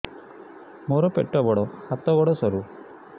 ମୋର ପେଟ ବଡ ହାତ ଗୋଡ ସରୁ